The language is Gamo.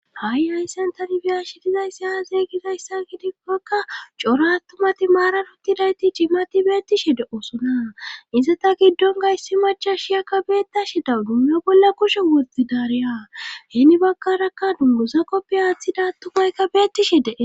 Ha'i hayssan tani biyashshe dizayssi aze gizayssa gidikokka cora attumati maaran uttidayti ciimati beettishshe de'osona izatta giddon issi machchashshiyakka beettashshe de'wudus bolla kushe woththidaariya heeni baggarakka dunguza qoppi woththida attumaykka beettishe dees